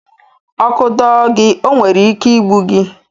Ọkụ dọọ gị, ọ nwere ike igbu gị.